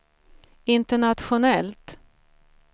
internationellt